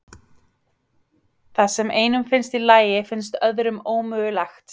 Það sem einum finnst í lagi finnst öðrum ómögulegt.